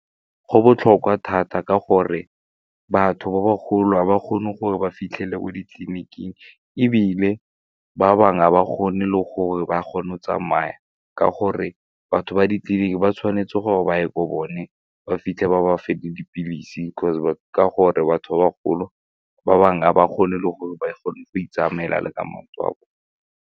Go botlhokwa thata ka gore batho ba bagolo ga ba kgone gore ba fitlhele o ditleliniking ebile ba bangwe ga ba kgone le gore ba kgone go tsamaya ka gore batho ba ditleliniki ba tshwanetse gore ba ye ko bone ba fitlhe ba ba fe le dipilisi ka gore batho ba bagolo ba bangwe ga ba kgone le gore ba kgone go itsamaela le ka maoto a bone.